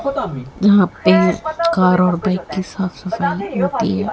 यहां पर कार और बाइक की साफ सफाई होती है।